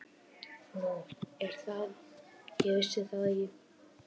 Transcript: Nú er það, ég vissi það ekki.